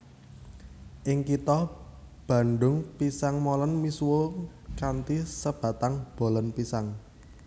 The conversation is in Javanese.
Ing kitha Bandung pisang molen misuwur kanthi sebatan bolen pisang